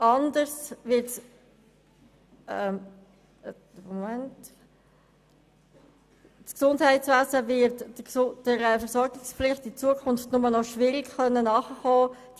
Das Gesundheitswesen wird der Versorgungspflicht künftig nur noch mit Mühe nachkommen können.